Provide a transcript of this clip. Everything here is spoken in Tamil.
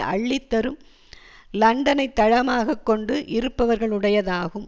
அள்ளித்தரும் லண்டனை தளமாக கொண்டு இருப்பவர்களுடையதாகும்